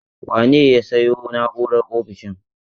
Wane ne ya sayo na'urar ofishin?